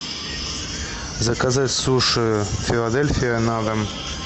заказать суши филадельфия на дом